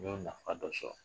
N y'o nafa dɔ sɔrɔ.